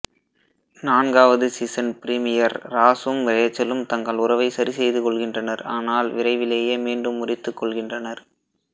நான்காவது season premiere ராஸும் ரேச்சலும் தங்கள் உறவை சரிசெய்துகொள்கின்றனர் ஆனால் விரைவிலேயே மீண்டும் முறித்துக்கொள்கின்றனர்